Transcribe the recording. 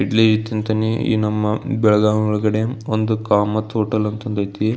ಇಡ್ಲಿ ತಿಂಥಿಣಿ ನಮ್ಮ ಬೆಳಗಾಂ ಒಳಗಡೇ ಒಂದು ಕಾಮತ ಹೋಟೆಲ್ ಅಂತ ಐತಿ-